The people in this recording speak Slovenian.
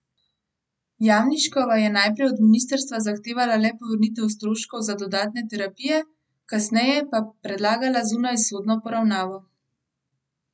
Jamniškova je najprej od ministrstva zahtevala le povrnitev stroškov za dodatne terapije, kasneje pa predlagala zunajsodno poravnavo.